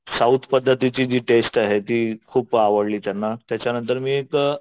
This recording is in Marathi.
साऊथ पद्धतीची जी टेस्ट आहे ती खूप आवडली त्यांना त्याच्यानंतर मी एक